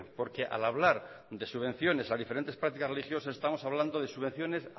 porque al hablar de subvenciones a diferentes prácticas religiosas estamos hablando de subvenciones